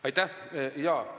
Aitäh!